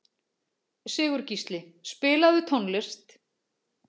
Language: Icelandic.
Sigurgísli, spilaðu tónlist.